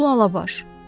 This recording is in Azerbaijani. Ulu Alabaş.